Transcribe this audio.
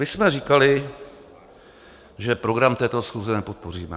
My jsme říkali, že program této schůze nepodpoříme.